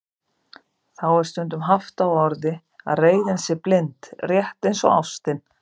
Þá er stundum haft á orði að reiðin sé blind, rétt eins og ástin.